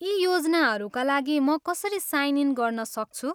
यी योजनाहरूका लागि म कसरी साइन इन गर्न सक्छु?